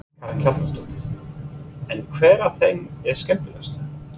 Karen Kjartansdóttir: En hver af þeim er skemmtilegastur?